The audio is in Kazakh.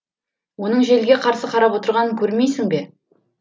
оның желге қарсы қарап отырғанын көрмейсің бе